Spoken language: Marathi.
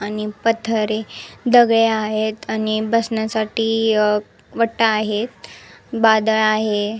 आणि पथरे दगड आहेत आणि बसण्यासाठी अ वटा आहे बादल आहे.